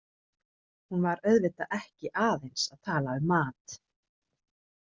Hún var auðvitað ekki aðeins að tala um mat.